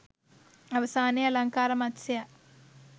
අවසානයේ අලංකාර මත්ස්‍යයා